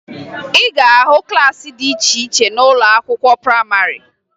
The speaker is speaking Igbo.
Ị ga-ahụ klaasị dị iche iche n'ụlọ akwụkwọ prayịmarị